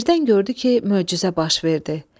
Birdən gördü ki, möcüzə baş verdi.